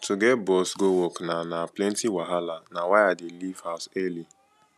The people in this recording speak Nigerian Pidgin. to get bus go work na na plenty wahala na why i dey leave house early